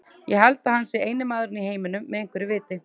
Ég held að hann sé eini maðurinn í heiminum með einhverju viti.